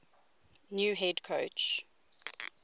new head coach